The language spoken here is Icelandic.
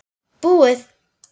Búið